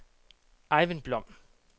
Ejvind Blom